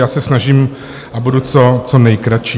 Já se snažím a budu co nejkratší.